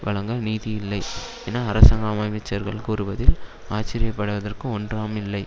வழங்க நிதி இல்லை என அரசாங்க அமைச்சர்கள் கூறுவதில் ஆச்சரிய படுவதற்கு ஒன்றாம் இல்லை